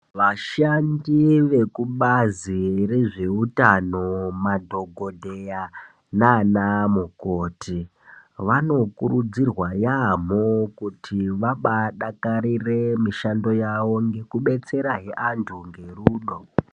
Vashandi vekubazi rezvehutano, madhokodheya naana mukoti vanokurudzirwa yaamho kutivabadakarire mishando yavo ngekubetsera antu ngerudo.